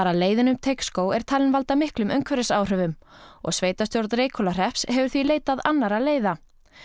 að leiðin um Teigsskóg er talin valda miklum umhverfisáhrifum og sveitarstjórn Reykhólahrepps hefur því leitað annarra leiða